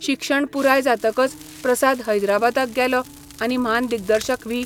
शिक्षण पुराय जातकच प्रसाद हैदराबादाक गेलो आनी म्हान दिग्दर्शक व्ही.